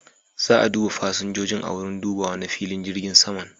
Za'a duba fasinjojin a wurin dubawa na filin jirgin saman.